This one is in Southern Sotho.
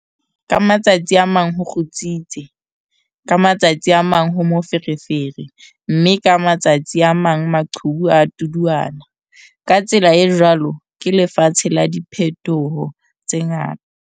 Ka matsatsi a mang ho kgutsitse, ka ma tsatsi a mang ho moferefere mme ka matsatsi a mang maqhubu a a tuduana, ka tsela e jwalo ke lefatshe la diphetoho tse ngata!